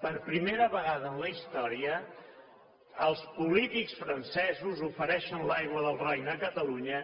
per primera en la història els polítics francesos ofereixen l’aigua del roine a catalunya